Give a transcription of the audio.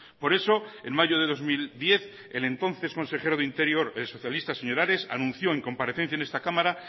por eso en mayo de dos mil diez el entonces consejero de interior el socialista señor ares anunció en comparecencia en esta cámara